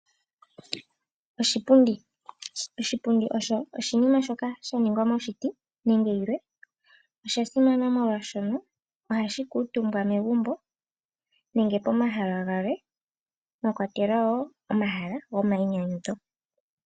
Oshipundi osho oshinima shoka sha ningwa moshiti nenge yilwe. Osha simana molwaashono ohashi kuutumbwa megumbo nenge pomahala galwe, mwa kwatelwa wo omahala go mayinyanyudho.